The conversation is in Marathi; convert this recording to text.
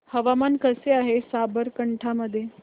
हवामान कसे आहे साबरकांठा मध्ये